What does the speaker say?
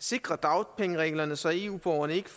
sikre dagpengereglerne så eu borgerne ikke